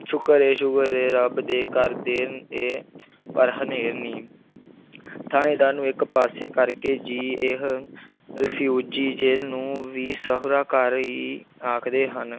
ਸ਼ੁਕਰ ਹੈ ਸ਼ੁਕਰ ਹੈੈ ਰੱਬ ਦੇ ਘਰ ਦੇਰ ਹੈ ਪਰ ਹਨੇਰ ਨਹੀਂ ਥਾਣੇਦਾਰ ਨੂੰ ਇੱਕ ਪਾਸੇ ਕਰ ਕੇ, ਜੀ ਇਹ ਰਿਫਿਊਜੀ ਜੇਲ੍ਹ ਨੂੰ ਵੀ ਸਹੁਰਾ-ਘਰ ਹੀ ਆਖਦੇ ਹਨ,